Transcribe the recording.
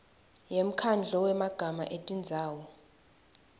yemkhandlu wemagama etindzawo